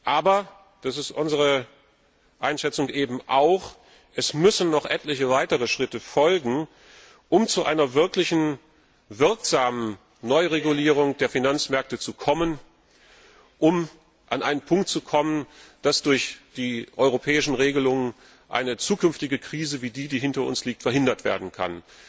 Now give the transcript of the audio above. Aber das ist unsere Einschätzung eben auch es müssen noch etliche weitere Schritte folgen, um zu einer wirklich wirksamen Neuregulierung der Finanzmärkte zu kommen, um an einen Punkt zu kommen, wo durch die europäischen Regelungen eine zukünftige Krise wie die, die hinter uns liegt, verhindert werden kann.